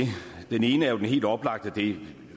den ene er den helt oplagte og det